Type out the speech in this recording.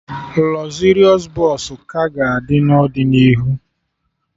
Lọzịrịọs Bọsụ ka ga-adị n'ọdịnihu